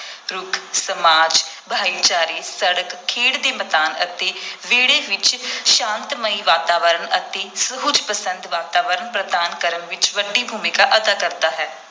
ਰੁੱਖ ਸਮਾਜ, ਭਾਈਚਾਰੇ, ਸੜਕ, ਖੇਡ ਦੇ ਮੈਦਾਨ ਅਤੇ ਵਿਹੜੇ ਵਿਚ ਸ਼ਾਂਤਮਈ ਵਾਤਾਵਰਣ ਅਤੇ ਸੁਹਜ ਪਸੰਦ ਵਾਤਾਵਰਣ ਪ੍ਰਦਾਨ ਕਰਨ ਵਿਚ ਵੱਡੀ ਭੂਮਿਕਾ ਅਦਾ ਕਰਦਾ ਹੈ।